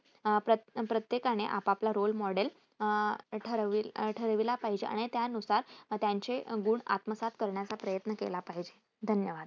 प्रत प्रत्येकाने आपापला role model ठरविला पाहिजे आणि त्यानुसार त्यांचे गुण आत्मसात करण्याचा प्रयत्न केला पाहिजे. धन्यवाद